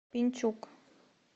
пенчук